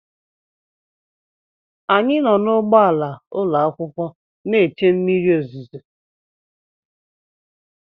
Anyị nọ n’ụgbọala ụlọakwụkwọ na-che mmiri ozuzo